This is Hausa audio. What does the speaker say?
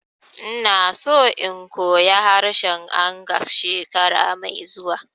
Ina so in koya harshen Angas shekara mai zuwa